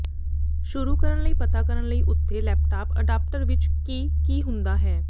ਸ਼ੁਰੂ ਕਰਨ ਲਈ ਪਤਾ ਕਰਨ ਲਈ ਉਥੇ ਲੈਪਟਾਪ ਅਡਾਪਟਰ ਵਿੱਚ ਹੈ ਕਿ ਕੀ ਹੁੰਦਾ ਹੈ